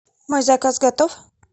мой заказ готов